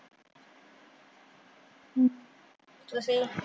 ਤੁਸੀਂ?